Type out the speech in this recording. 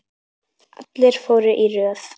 Allir fóru í röð.